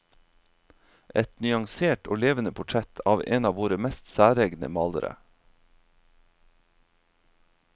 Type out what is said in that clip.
Et nyansert og levende portrett av en av våre mest særegne malere.